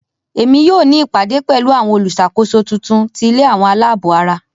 Emi yoo ni ìpàdé pẹ̀lu àwon olúṣàkóso titun ti ilé àwọn aláàbò ara.